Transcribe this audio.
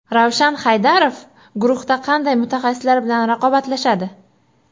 Ravshan Haydarov guruhda qanday mutaxassislar bilan raqobatlashadi?.